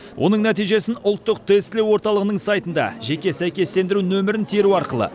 оның нәтижесін ұлттық тестілеу орталығының сайтында жеке сәйкестендіру нөмірін теру арқылы